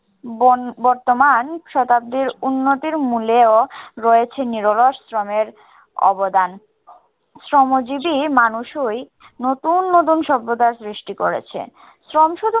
বন বর্তমান শতাব্দীর উন্নতির মুলেও রয়েছে নিরলস শ্রমের অবদান। শ্রমজীবী মানুষওই নতুন নতুন সভ্যতার সৃষ্টি করেছে। শ্রম শুধু